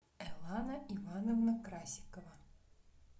элана ивановна красикова